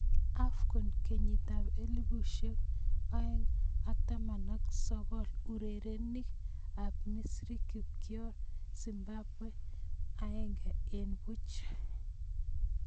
AFCON 2019: Urerenik ab Misri kokioir Zimbabwe 1-0.